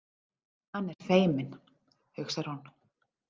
Hann er feiminn, hugsar hún.